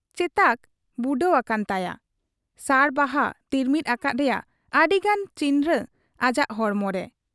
ᱪᱮᱛᱟᱠᱚ ᱵᱩᱰᱟᱹᱣ ᱟᱠᱟᱱ ᱛᱟᱭᱟ ᱾ ᱥᱟᱲ ᱵᱟᱦᱟ ᱛᱤᱨᱢᱤᱫ ᱟᱠᱟᱫ ᱨᱮᱭᱟᱜ ᱟᱹᱰᱤᱜᱟᱱ ᱪᱤᱠᱷᱱᱟᱹ ᱟᱡᱟᱜ ᱦᱚᱲᱢᱚᱨᱮ ᱾